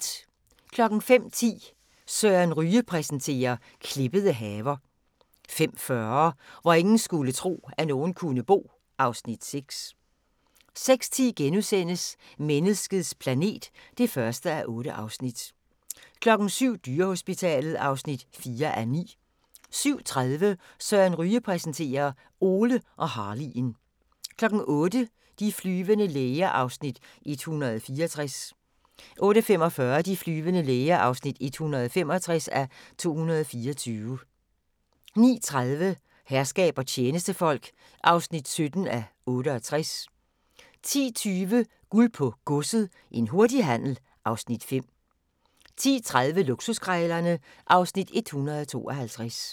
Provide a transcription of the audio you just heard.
05:10: Søren Ryge præsenterer - klippede haver 05:40: Hvor ingen skulle tro, at nogen kunne bo (Afs. 6) 06:10: Menneskets planet (1:8)* 07:00: Dyrehospitalet (4:9) 07:30: Søren Ryge præsenterer: Ole og Harley'en 08:00: De flyvende læger (164:224) 08:45: De flyvende læger (165:224) 09:30: Herskab og tjenestefolk (17:68) 10:20: Guld på Godset – en hurtig handel (Afs. 5) 10:30: Luksuskrejlerne (Afs. 152)